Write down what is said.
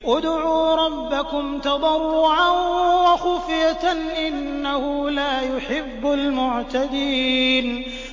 ادْعُوا رَبَّكُمْ تَضَرُّعًا وَخُفْيَةً ۚ إِنَّهُ لَا يُحِبُّ الْمُعْتَدِينَ